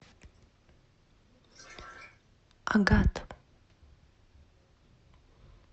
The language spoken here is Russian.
агат